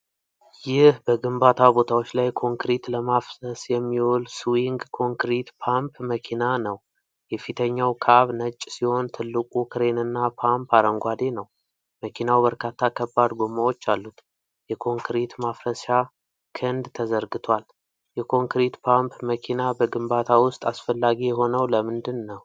ይህ በግንባታ ቦታዎች ላይ ኮንክሪት ለማፍሰስ የሚውል ስዊንግ ኮንክሪት ፓምፕ መኪና ነው። የፊተኛው ካብ ነጭ ሲሆን ትልቁ ክሬንና ፓምፕ አረንጓዴ ነው። መኪናው በርካታ ከባድ ጎማዎችአሉት። የኮንክሪት ማፍሰሻ ክንድ ተዘርግቷል። የኮንክሪት ፓምፕ መኪና በግንባታ ውስጥ አስፈላጊ የሆነው ለምንድን ነው?